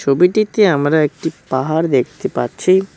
ছবিটিতে আমরা একটি পাহাড় দেখতে পাচ্ছি।